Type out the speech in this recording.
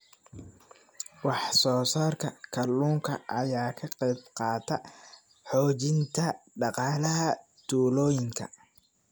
Wax soo saarka kalluunka ayaa ka qayb qaata xoojinta dhaqaalaha tuulooyinka.